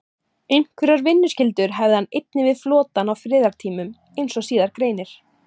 Einhverjar vinnuskyldur hafði hann einnig við flotann á friðartímum, eins og síðar greinir.